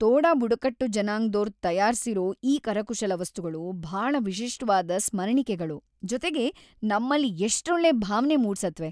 ತೋಡಾ ಬುಡಕಟ್ಟು ಜನಾಂಗ್ದೋರ್ ತಯಾರ್ಸಿರೋ‌ ಈ ಕರಕುಶಲ ವಸ್ತುಗಳು ಭಾಳ ವಿಶಿಷ್ಟವಾದ್ ಸ್ಮರಣಿಕೆಗಳು, ಜೊತೆಗೆ ನಮ್ಮಲ್ಲಿ ಎಷ್ಟೊಳ್ಳೆ ಭಾವ್ನೆ ಮೂಡ್ಸತ್ವೆ.